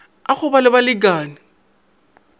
a go ba le balekane